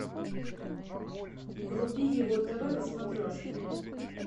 вруби его тв на смотрешке